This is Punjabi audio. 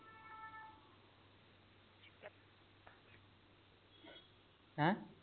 ਹੈ